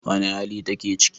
Wane hali take ciki?